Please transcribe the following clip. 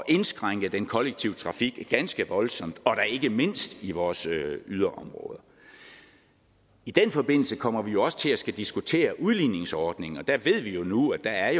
indskrænke den kollektive trafik ganske voldsomt og da ikke mindst i vores yderområder i den forbindelse kommer vi jo også til at skulle diskutere udligningsordningen og der ved vi nu at der er